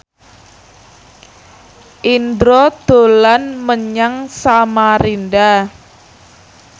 Indro dolan menyang Samarinda